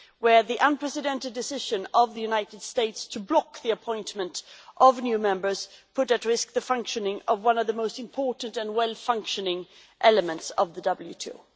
where the unprecedented decision of the United States to block the appointment of new members put at risk the functioning of one of the most important and well functioning elements of the WTO.